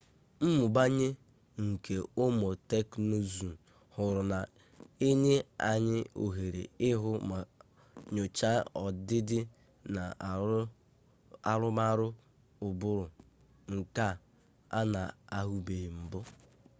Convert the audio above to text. mmụbanye nke ụmụ teknụzụ ọhụrụ na-enye anyị ohere ịhụ ma nyochaa ọdịdị na arụmarụ ụbụrụ nke a na-ahụbeghị mbụ